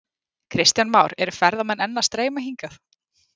Kristján Már: Eru ferðamenn enn að streyma hingað?